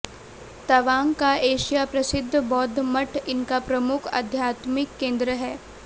तवांग का एशिया प्रसिद्ध बौद्ध मठ इनका प्रमुख आध्याकत्मिक केंद्र है